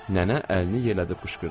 Nənə əlini yellədib qışqırdı.